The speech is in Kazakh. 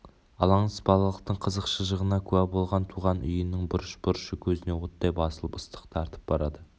алаңсыз балалықтың қызық-шыжығына куә болған туған үйінің бұрыш-бұрышы көзіне оттай басылып ыстық тартып барады